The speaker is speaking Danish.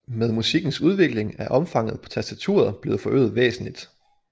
Med musikkens udvikling er omfanget på tastaturet blevet forøget væsentligt